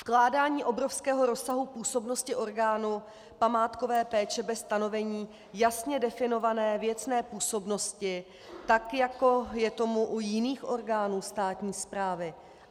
Vkládání obrovského rozsahu působnosti orgánů památkové péče bez stanovení jasně definované věcné působnosti, tak jako je tomu u jiných orgánů státní správy.